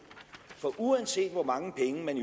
for uanset hvor mange penge man